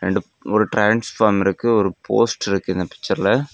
ரெண்டு ஒரு டிரான்ஸ்ஃபாம் இருக்கு ஒரு போஸ்ட்டிருக்கு இந்த பிச்சர்ல .